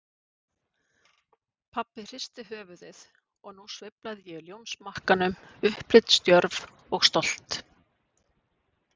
Pabbi hristi höfuðið, og nú sveiflaði ég ljónsmakkanum, upplitsdjörf og stolt.